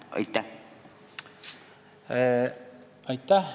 Aitäh!